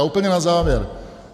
A úplně na závěr.